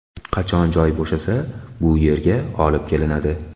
Qachon joy bo‘shasa, bu yerga olib kelinadi.